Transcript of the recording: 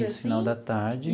Isso, final da tarde.